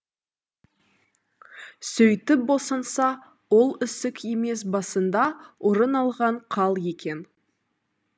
сөйтіп босанса ол ісік емес басында орын алған қал екен